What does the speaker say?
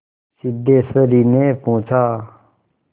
सिद्धेश्वरीने पूछा